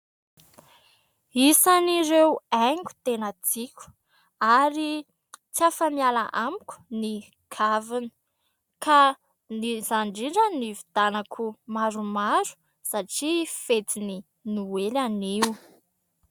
Isan'ireo haingo tena tiako ary tsy afa-miala amiko ny kavina ka ny izany indrindra ny ividianako maromaro satria fetin'ny noely anio.